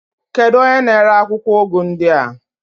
Kedu onye na-ere akwụkwọ ụgụ ndị a?